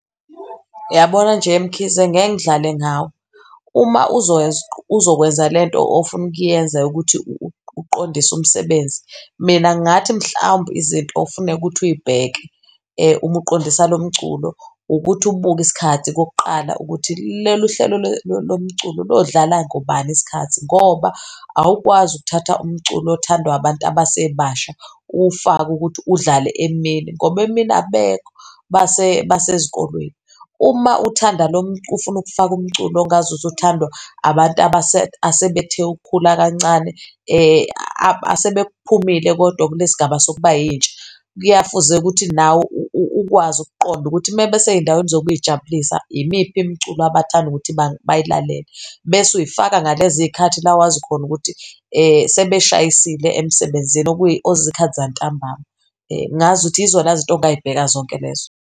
Uyabona nje, Mkhize ngeke ngidlale ngawe, uma uzokwenza lento ofuna ukuyenza yokuthi uqondise umsebenzi, mina ngingathi mhlawumbe izinto ofuneka ukuthi uy'bheke uma uqondisa lo mculo ukuthi ubuke isikhathi okokuqala ukuthi lolu hlelo lomculo lodlala ngobani iskhathi ngoba awukwazi ukuthatha umculo othandwa abantu abasebasha uwufake ukuthi udlale emini. Ngoba emina abekho basezikolweni. Uma ufuna ukufaka umculo ongazuthi uthandwa abantu asebethe ukukhula kancane asebephumile kodwa kulesigaba sokuba yintsha fuze ukuthi nawe ukwazi ukuqonda ukuthi mesey'ndaweni zokuy'jabulisa, imiphi imculo abathanda ukuthi bayilalele bese uyifaka ngaleziy'khathi la wazi khona ukuthi sebeshayisile emsebenzini okuyizikhathi zantambama. Ngazuthi yizona izinto ongayibheka zonke lezo.